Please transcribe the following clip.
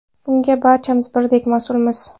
Bunga barchamiz birdek mas’ulmiz.